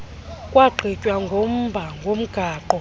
kwagqitywa ngomba womgaqo